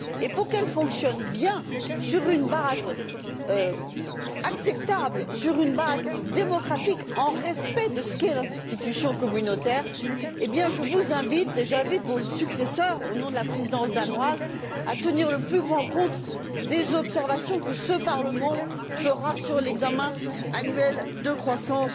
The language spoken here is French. Pour qu'elle fonctionne bien, sur une base acceptable, démocratique, dans le respect de ce qu'est l'institution communautaire, je vous invite, ainsi que vos successeurs, au nom de la Présidence danoise, à tenir le plus grand compte des observations que ce Parlement fera sur l'examen annuel de la croissance